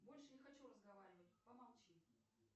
больше не хочу разговаривать помолчи